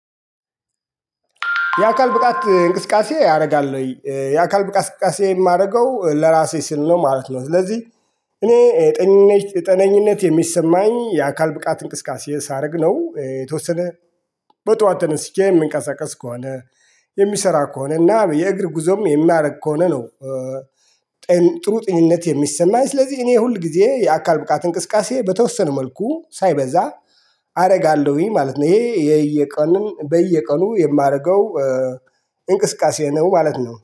የአካል ብቃት እንቅስቃሴ ያደርጋል ወይ የአካል ብቃት እንቅስቃሴ የማደርገው ለራሴ ሲል ነው ማለት ነው። ስለዚህ እኔ ጤነኝነት የሚሰማኝ የአካል ብቃት እንቅስቃሴ ሳረግ ነው። የተወሰነ በጧት ተነስቼ የምንቀሳቀስ ከሆነ የሚሰራ ከሆነ እና የእግር ጉዞም የሚያደርግ ከሆነ ነው። ጥሩ ጥኝነት የሚሰማኝ ስለዚህ እኔ ሁል ጊዜ የአካል ብቃት እንቅስቃሴ በተወሰነ መልኩ ሳይበዛ አደርጋለሁኝ ማለት ነው። ይሄ የየቀኑን በየቀኑ የማደርገው እንቅስቃሴ ነው ማለት ነው